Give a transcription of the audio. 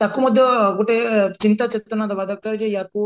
ତାକୁ ମଧ୍ୟ ଗୋଟେ ଚିନ୍ତା ଚେତନା ଦବା ଦରକାର ଯେ ଆକୁ